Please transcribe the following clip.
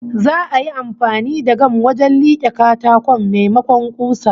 Za'a yi amfani da gam wajen like katakon, maimakon kusa